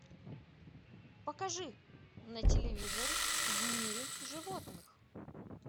покажи на телевизоре в мире животных